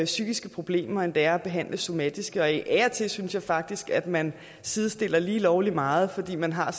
psykiske problemer end det er at behandle somatiske og af og til synes jeg faktisk at man sidestiller lige lovlig meget fordi man har